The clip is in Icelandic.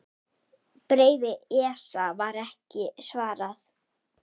Bréfi ESA var ekki svarað.